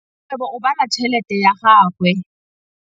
Rakgwêbô o bala tšheletê ya gagwe.